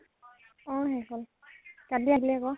অ শেষ হল। কালি আহিলে আকʼ